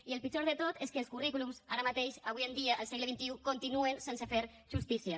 i el pitjor de tot és que els currículums ara mateix avui en dia al segle xxi continuen sense fer justícia